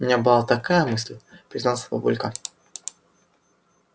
у меня была такая мысль признался папулька